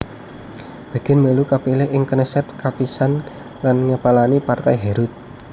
Begin mèlu kapilih ing Knesset kapisan lan ngepalani Partai Herut